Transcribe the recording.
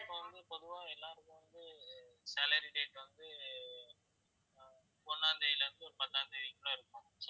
இப்ப வந்து பொதுவா எல்லாருக்கும் வந்து salary date வந்து ஒண்ணாம் தேதியிலிருந்து ஒரு பத்தாம் தேதிக்குள்ள இருக்கும்